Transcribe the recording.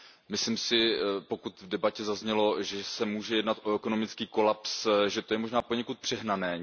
Myslím si, že pokud v debatě zaznělo, že se může jednat o ekonomický kolaps, že to je možná poněkud přehnané.